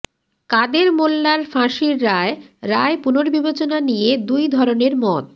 কাদের মোল্লার ফাঁসির রায় রায় পুনর্বিবেচনা নিয়ে দুই ধরনের মত